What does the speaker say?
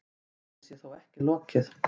Málinu sé þó ekki lokið.